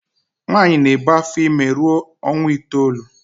Nwaanyi na ebu afor ime ruo onwa itoolu.